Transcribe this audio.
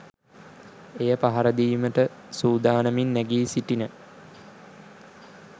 එය පහරදීමට සූදානමින් නැගී සිටින